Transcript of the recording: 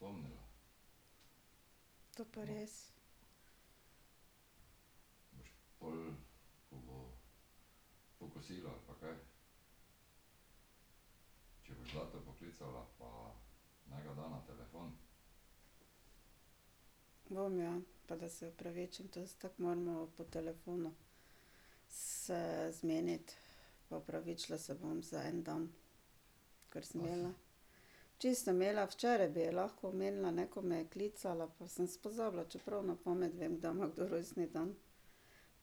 To pa res. Bom, ja, pa da se opravičim, to se tako moramo po telefonu se zmeniti. Pa opravičila se bom za en dan, ker sem imela ... Čisto sem imela, včeraj bi ji lahko omenila, ne, ko me je klicala, pa sem pozabila, čeprav na pamet vem, kdaj ima kdo rojstni dan.